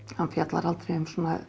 hann fjallar aldrei um